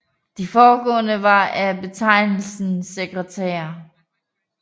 De forgående var af betegnelsen sekretærer